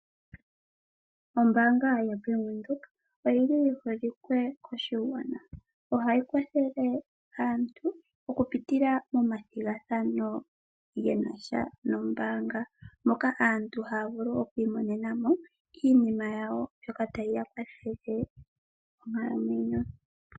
Ombaanga yoBank Windhoek oyili yi holike koshigwana, ohayi kwathele aantu okupitilla momathigathano genasha nombaanga moka aantu haya vulu okwii monena mo iinima yawo mbyoka tayiya kwathele monkalamwenyo.